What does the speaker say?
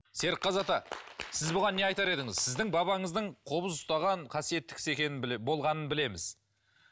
серікқазы ата сіз бұған не айтар едіңіз сіздің бабаңыздың қобыз ұстаған қасиетті кісі екенін болғанын білеміз